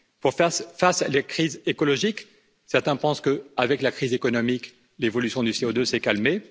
Pour faire face à la crise écologique, certains pensent que, avec la crise économique, l'évolution du CO2 s'est calmée.